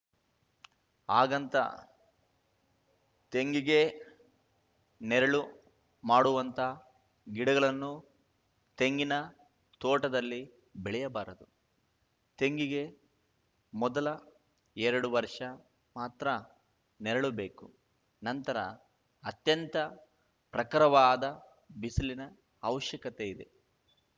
ಹಾಗಂತ ತೆಂಗಿಗೇ ನೆರಳು ಮಾಡುವಂಥ ಗಿಡಗಳನ್ನೂ ತೆಂಗಿನ ತೋಟದಲ್ಲಿ ಬೆಳೆಯಬಾರದು ತೆಂಗಿಗೆ ಮೊದಲ ಎರಡು ವರ್ಷ ಮಾತ್ರ ನೆರಳು ಬೇಕು ನಂತರ ಅತ್ಯಂತ ಪ್ರಖರವಾದ ಬಿಸಿಲಿನ ಅವಶ್ಯಕತೆ ಇದೆ